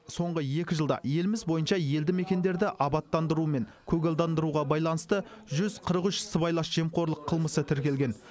соңғы екі жылда еліміз бойынша елді мекендерді абаттандыру мен көгалдандыруға байланысты жүз қырық үш сыбайлас жемқорлық қылмысы тіркелген